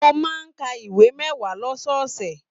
Mo máa n ká ìwé mẹwa lọ́sọọsẹ̀.